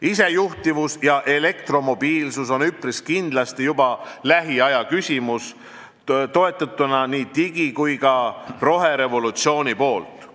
Isejuhtivus ja elektromobiilsus on üpris kindlasti juba lähiaja küsimus, toetatuna nii digi- kui ka roherevolutsiooni poolt.